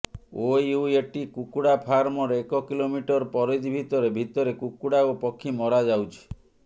OUAT କୁକୁଡା ଫାର୍ମର ଏକ କିଲୋମିଟର ପରିଧି ଭିତରେ ଭିତରେ କୁକୁଡା ଓ ପକ୍ଷୀ ମରାଯାଉଛି